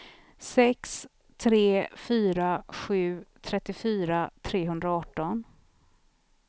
sex tre fyra sju trettiofyra trehundraarton